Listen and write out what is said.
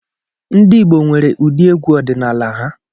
Ndị Igbo nwere ụdị egwu ọdịnala ha.